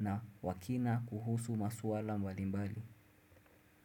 na wakina kuhusu masuala mbalimbali.